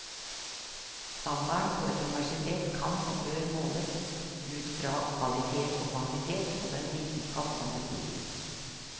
Standarden på et universitet kan og bør måles ut fra kvalitet og kvantitet på den vitenskap som bedrives.